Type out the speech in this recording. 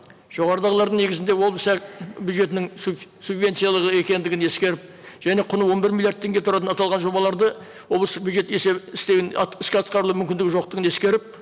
жоғарыдағылардың негізінде облыс бюджетінің субвенциялығы екендігін ескеріп және құны он бір миллиард теңге тұратын аталған жобаларды облыстық бюджет есебі істеуін іске атқарылу мүмкіндігі жоқтығын ескеріп